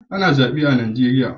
Ana zabe a Najeriya.